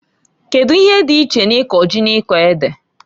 Kedu ife dị iche na iko ji na iko ede?